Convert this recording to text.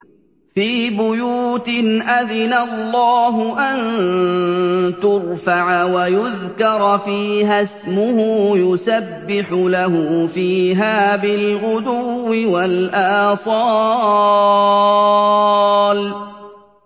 فِي بُيُوتٍ أَذِنَ اللَّهُ أَن تُرْفَعَ وَيُذْكَرَ فِيهَا اسْمُهُ يُسَبِّحُ لَهُ فِيهَا بِالْغُدُوِّ وَالْآصَالِ